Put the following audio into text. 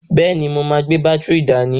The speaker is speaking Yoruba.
Bẹ́ẹ̀ni, mo máa gbé bátìrì dání.